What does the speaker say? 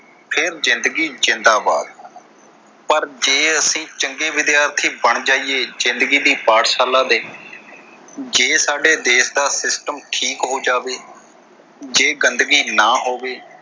ਫ਼ੇਰ ਜਿੰਦਗੀ ਜ਼ਿੰਦਾਬਾਦ ਪਰ ਜੇ ਅਸੀਂ ਚੰਗੇ ਵਿਦਿਆਰਥੀ ਬਣ ਜਾਈਏ ਜਿੰਦਗੀ ਦੀ ਪਾਠਸ਼ਾਲਾ ਦੇ ਜੇ ਸਾਡੇ ਦੇਸ਼ ਦਾ system ਠੀਕ ਹੋ ਜਾਵੇ, ਜੇ ਗੰਦਗੀ ਨਾ ਹੋਵੇ।